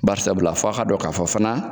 Bari sabula fo a' k'a dɔn k'a fɔ fana